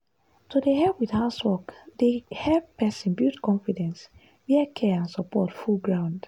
to dey help with housework dey help person build confidence where care and support full ground.